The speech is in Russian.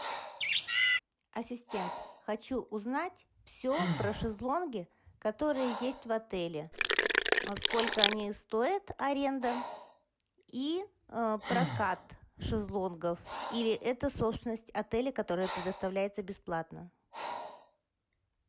ассистент хочу узнать все про шезлонги которые есть в отеле сколько они стоят аренда и прокат шезлонгов или это собственность отеля которая предоставляется бесплатно